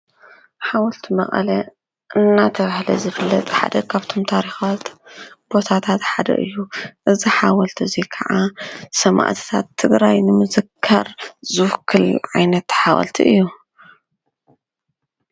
ሓወልቲ መቐለ እናተባሃለ ዝፍለጥ ሓደ ካብቶም ታሪኻት ቦታታት ሓደ እዩ፡፡ እዚ ሓወልቲ እዚ ከዓ ሰማእትታት ትግራይ ንምዝካር ዝውክል ዓይነት ሓወልቲ እዩ፡፡